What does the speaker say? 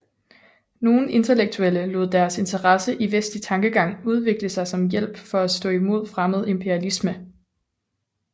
Nogen intellektuelle lod deres interesse i vestlig tankegang udvikle sig som hjælp for at stå i mod fremmed imperialisme